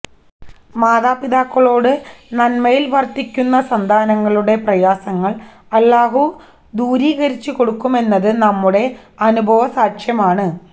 മാതാപിതാക്കളോട് നന്മയില് വര്ത്തിക്കുന്ന സന്താനങ്ങളുടെ പ്രയാസങ്ങള് അല്ലാഹു ദൂരീകരിച്ചുകൊടുക്കുമെന്നത് നമ്മുടെ അനുഭവസാക്ഷ്യമാണ്